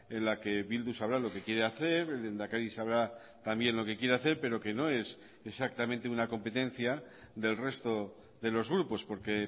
en la que bildu sabrá lo que quiere hacer el lehendakari sabrá también lo que quiere hacer pero que no es exactamente una competencia del resto de los grupos porque